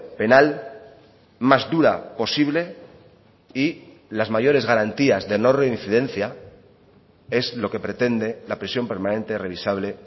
penal más dura posible y las mayores garantías de no reincidencia es lo que pretende la prisión permanente revisable